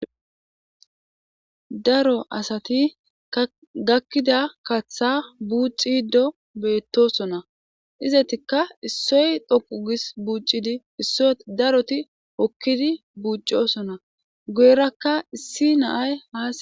daro asati gakkida kaththa buuxiddo beettosona izatikka issoy dhoqu gis buuccidi isso daroti okkidi buuccosona goyrakka issi naay haa